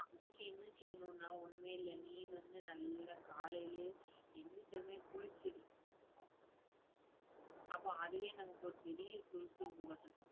அதுக்கு என்ன செய்யணும்னா ஒண்ணுமே இல்லை. நீ வந்து நல்லா காலையிலேயே எந்திரிச்ச உடனே குளிச்சிடு அப்ப அதுவே நமக்கு ஒரு பெரிய சுறுசுறுப்பு